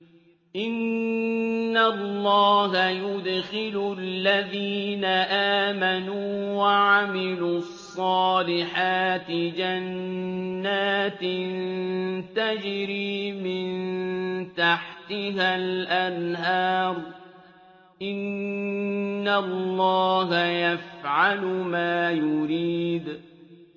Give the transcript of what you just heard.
إِنَّ اللَّهَ يُدْخِلُ الَّذِينَ آمَنُوا وَعَمِلُوا الصَّالِحَاتِ جَنَّاتٍ تَجْرِي مِن تَحْتِهَا الْأَنْهَارُ ۚ إِنَّ اللَّهَ يَفْعَلُ مَا يُرِيدُ